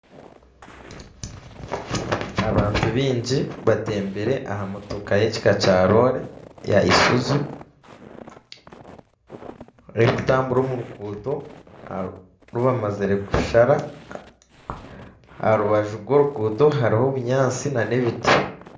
Abantu baingi batembire aha motoka y'ekika kya Roore ya Isuzu. Erikutambura omu ruguuto oru bamazire kushara. Aha rubaju rw'oruguuto hariho obunyaasi n'ebiti.